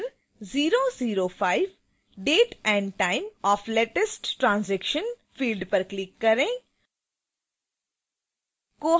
फिर 005 date and time of latest transaction field पर click करें